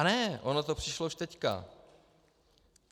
A ne, ono to přišlo už teďka.